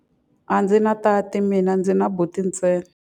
A ndzi na tati mina, ndzi na buti ntsena.